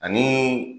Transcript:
Ani